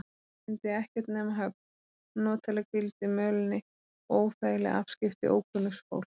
Ég mundi ekkert nema högg, notalega hvíld í mölinni og óþægileg afskipti ókunnugs fólks.